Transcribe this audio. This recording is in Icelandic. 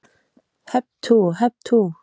Hep tú, hep tú.